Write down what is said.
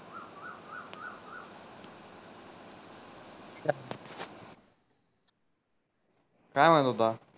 काय म्हणत होता